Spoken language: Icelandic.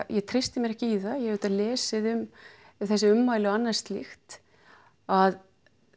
ég treysti mér ekki það ég hef lesið þessi ummæli og annað slíkt að